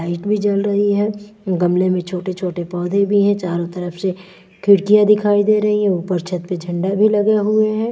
Light भी जल रही है गमले में छोटे छोटे पौधे भी हैं चारों तरफ से खिड़कियां दिखाई दे रही है ऊपर छत पर झंडा भी लगे हुए हैं।